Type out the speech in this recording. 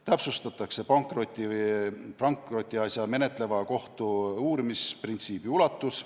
Täpsustatakse pankrotiasja menetleva kohtu uurimisprintsiibi ulatus.